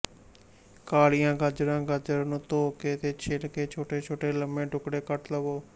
ਕਾਲੀਆਂ ਗਾਜਰਾਂ ਗਾਜਰਾਂ ਨੂੰ ਧੋ ਕੇ ਤੇ ਛਿੱਲ ਕੇ ਛੋਟੇ ਛੋਟੇ ਲੰਮੇ ਟੁਕੜੇ ਕੱਟ ਲਵੋ